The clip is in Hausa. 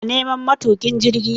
ina neman matukin jirgin